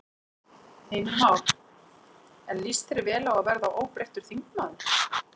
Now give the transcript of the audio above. Heimir Már: En líst þér vel á að verða óbreyttur þingmaður?